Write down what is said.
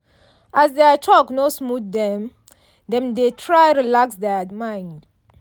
as their talk no smooth dem dem dey try relax their mind.